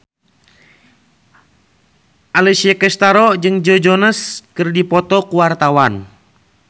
Alessia Cestaro jeung Joe Jonas keur dipoto ku wartawan